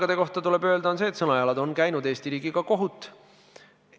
Alates 2018. aastast saavad suure ravimikuluga inimesed Haigekassa kaudu täiendavat automaatset ravimisoodustust.